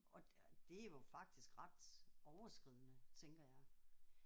Og og det er jo faktisk ret overskridende tænker jeg